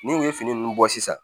Ni u ye fini ninnu bɔ sisan